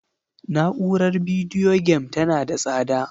Na'urar bidiyo game tana da tsada